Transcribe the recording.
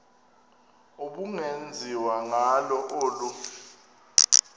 ubungenziwa ngalo olu